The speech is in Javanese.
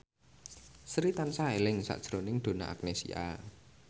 Sri tansah eling sakjroning Donna Agnesia